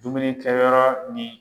Dumuni kɛyɔrɔ nin